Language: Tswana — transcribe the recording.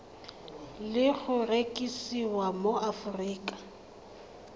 le go rekisiwa mo aforika